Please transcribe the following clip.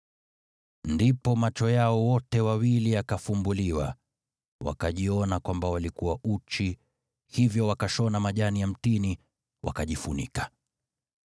Ndipo macho yao wote wawili yakafumbuliwa, wakajiona kwamba walikuwa uchi; hivyo wakashona majani ya mtini, wakajifunika.